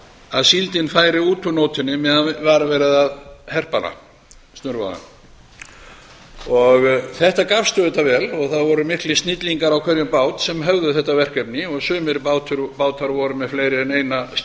að síldin færi út úr nótinni meðan var verið að herpa hana snurvoðina þetta gafst auðvitað vel og það voru miklir snillingar á hverjum bát sem höfðu þetta verkefni og sumir bátar voru með fleiri en eina skilmu það má